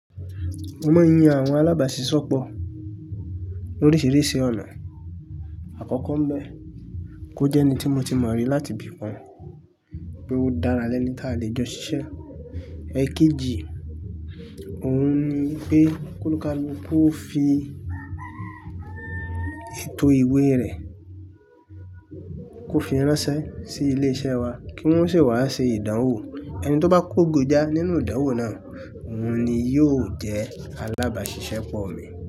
Mo máa ń yan àwọn alábàáṣiṣọ́pọ̀ ní oríṣiríṣi ọ̀nà. Àkọ́kọ́ ń bẹ, kó jẹ́ ẹni tí mo ti mọ̀ rí láti ibí kàn pé ó dára lẹ́ni tá lè jọ ṣiṣẹ́. Ẹ̀ẹ̀kejì, òun ni pé kólukálukó fi ètò ìwé rẹ̀, kó fi ránṣẹ́ sí ilé-iṣẹ́ wa kí wọ́n sì wá ṣe ìdánwò. Ẹni tó bá kógojá nínú ìdánwò náà, òun ni yóò jẹ́ alábàáṣiṣẹ́pọ̀ mi.